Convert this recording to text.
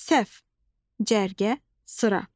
Səhv: cərgə, sıra.